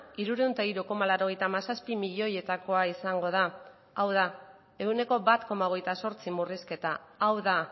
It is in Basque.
hirurehun eta hiru koma laurogeita hamazazpi milioietakoa izango da hau da ehuneko bat koma hogeita zortzi murrizketa hau da